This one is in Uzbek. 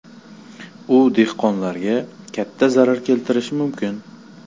U dehqonlarga katta zarar keltirishi mumkin.